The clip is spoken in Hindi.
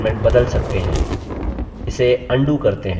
इसे अन्डू करते हैं